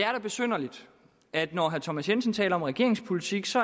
er da besynderligt at når herre thomas jensen taler om regeringens politik så